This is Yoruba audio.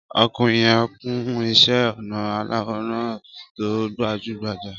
Ọkùnrin yẹn kun iṣẹ́-ọnà aláwò rán tó gbajú-gbajà.